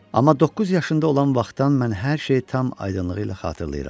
Amma doqquz yaşında olan vaxtdan mən hər şeyi tam aydınlığı ilə xatırlayıram.